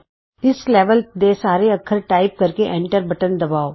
ਇਸ ਲੈਵਲ ਦੇ ਸਾਰੇ ਅੱਖਰ ਟਾਈਪ ਕਰਕੇ ਐਂਟਰ ਬਟਨ ਦਬਾਉ